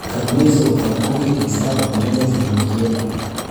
Kalluumaysigu waxa uu gacan ka geystaa horumarinta tignoolajiyada.